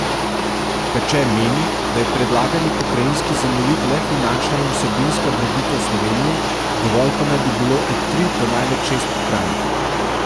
Peče meni, da je predlagani pokrajinski zemljevid le finančna in vsebinska drobitev Slovenije, dovolj pa naj bi bilo od tri do največ šest pokrajin.